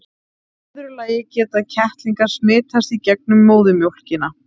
í öðru lagi geta kettlingar smitast í gegnum móðurmjólkina